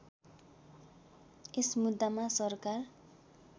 यस मुद्दामा सरकार